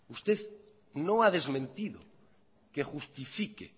usted no ha desmentido que justifique